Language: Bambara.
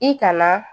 I kana